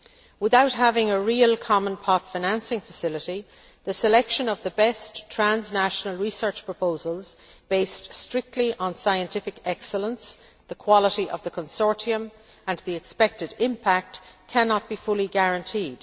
Without having a real common pot financing facility, the selection of the best transnational research proposals based strictly on scientific excellence, the quality of the consortium and the expected impact cannot be fully guaranteed.